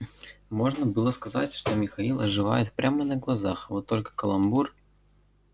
можно было сказать что михаил оживает прямо на глазах вот только каламбур